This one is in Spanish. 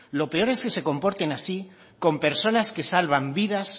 lo peor es que se comporten así con personas que salvan vidas